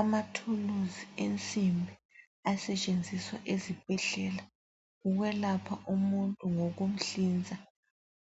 Amathuluzi ensimbi asetshenziswa ezibhedlela ukwelapha umuntu ngokumhlinza